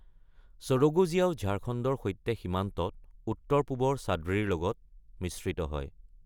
সৰগুজিয়াও ঝাৰখণ্ডৰ সৈতে সীমান্তত উত্তৰ-পূবৰ চাদ্ৰী লগত মিশ্ৰিত হয়।